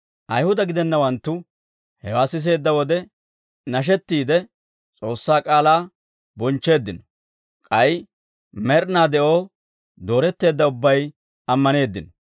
Ayihuda gidennawanttu hewaa siseedda wode, nashettiide S'oossaa k'aalaa bonchcheeddino; k'ay med'inaa de'oo dooretteedda ubbay ammaneeddino.